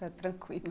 Está tranquilo.